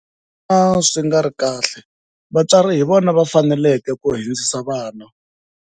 Swi va swi nga ri kahle vatswari hi vona va faneleke ku hundzisa vana.